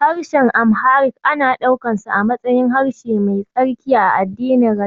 Harshen Amharic ana ɗaukansa a matsayin harshe mai tsarki a addinin